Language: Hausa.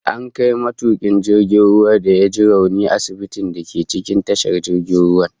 An kai matukin jirgin ruwan da ya ji rauni asibitin da ke cikin tashar jirgin ruwan